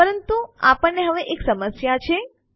પરંતુ હવે આપણને એક સમસ્યા છે